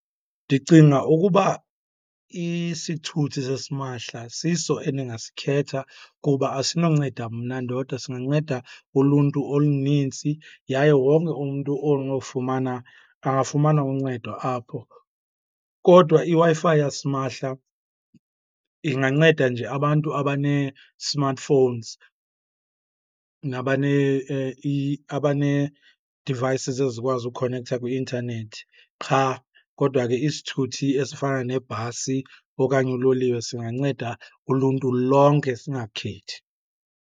Ndicinga ukuba isithuthi sasimahla siso endingasikhetha kuba asinawunceda mna ndodwa singanceda uluntu olunintsi, yaye wonke umntu onofumana angafumana uncedo apho. Kodwa iWi-Fi yasimahla inganceda nje abantu abanee-smartphones abanee-devices ezikwazi ukhonektha kwi-intanethi qha. Kodwa ke isithuthi esifana nebhasi okanye uloliwe singanceda uluntu lonke, singakhethi.